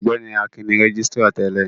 Ọgbẹni Akin ni rẹgisitira tẹlẹ.